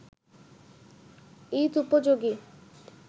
ঈদ-উপযোগী